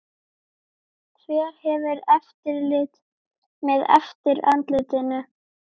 Hver hefur eftirlit með eftirlitinu?